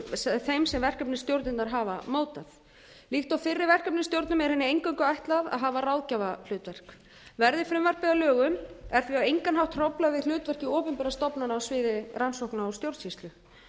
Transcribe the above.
sem verkefnisstjórnirnar hafa mótað líkt og fyrri verkefnisstjórnum er henni eingöngu ætlað að hafa ráðgjafahlutverk verði frumvarpið að lögum er því á engan hátt hróflað við hlutverki opinberra stofnana á sviði rannsókna og stjórnsýslu